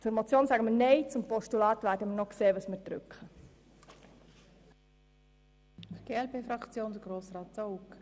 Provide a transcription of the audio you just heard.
Wir sagen nein zur Motion, und was das Postulat anbelangt, werden wir noch sehen, welchen Abstimmungsknopf wir drücken werden.